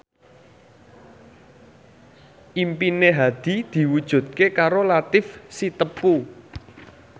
impine Hadi diwujudke karo Latief Sitepu